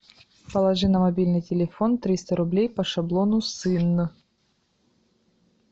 положи на мобильный телефон триста рублей по шаблону сын